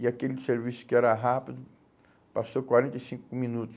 E aquele serviço que era rápido, passou quarenta e cinco minutos.